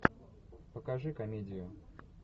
покажи комедию